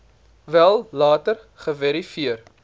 wel later geverifieer